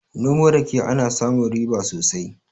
Noman rake ana samun riba sosai